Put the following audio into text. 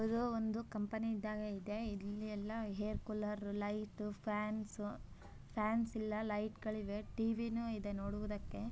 ಇದು ಒಂದು ಕಂಪನಿ ಇದಾಗೈತೆ. ಎಲ್ಲಿ ಎಲ್ಲಾ air cooler light fans fans ಇಲ್ಲ ಲೈಟ್ಗಳು ಇವೆ ಟಿವಿ ನೂ ಇದೆ ನೋಡುವುದಕ್ಕೆ.